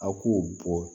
A k'o bɔ